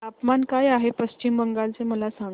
तापमान काय आहे पश्चिम बंगाल चे मला सांगा